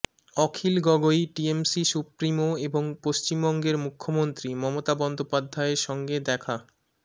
অখিল Gogoi TMC supremo এবং পশ্চিমবঙ্গের মুখ্যমন্ত্রী মমতা বন্দ্যোপাধ্যায়ের সঙ্গে দেখা